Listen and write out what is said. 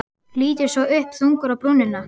Lítur svo upp, þungur á brúnina.